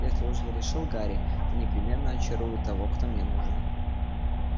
если уж я решил гарри то непременно очарую того кто мне нужен